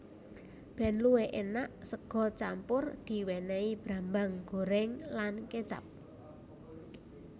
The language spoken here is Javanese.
Ben luwih enak sega campur diwenehi brambang goreng lan kecap